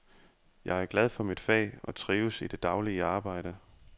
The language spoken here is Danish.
Jeg er glad for mit fag og trives i det daglige arbejde.